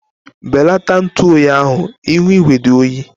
Belata ntu oyi ahu ihu igwe dị oyi